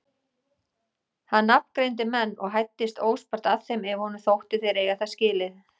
Hann nafngreindi menn og hæddist óspart að þeim ef honum þótti þeir eiga það skilið.